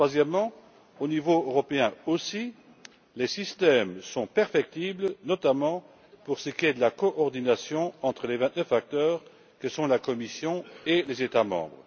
Troisièmement, au niveau européen aussi, les systèmes sont perfectibles, notamment pour ce qui est de la coordination entre les vingt neuf acteurs que sont la Commission et les États membres.